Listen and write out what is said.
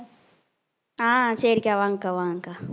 அஹ் சரிக்கா வாங்கக்கா வாங்கக்கா